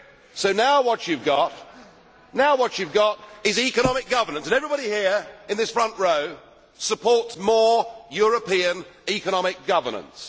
So now what you have got is economic governance, and everybody here in this front row supports more European economic governance.